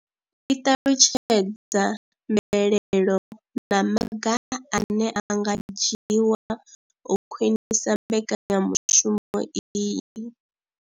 I ṱalutshedza mvelelo na maga ane a nga dzhiwa u khwinisa mbekanya mushumo iyi.